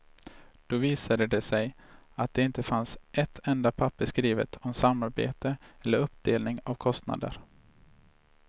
Då visade det sig att det inte fanns ett enda papper skrivet om samarbete eller uppdelning av kostnader.